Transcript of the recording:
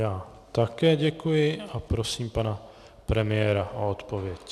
Já také děkuji a prosím pana premiéra o odpověď.